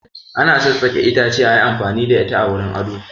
Ana tsassaƙe itace ayi amfani da ita wurin ado